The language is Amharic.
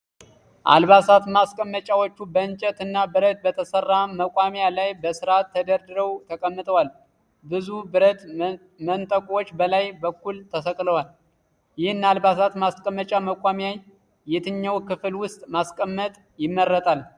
አልባሳት ማስቀመጫዎቹ በእንጨት እና ብረት በተሠራ መቆሚያ ላይ በሥርዓት ተደራጅተው ተቀምጠዋል። ብዙ ብረት መንጠቆዎች በላይ በኩል ተሰቅለዋል። ይህን አልባሳት ማስቀመጫ መቆሚያ የትኛው ክፍል ውስጥ ማስቀመጥ ይመረጣል?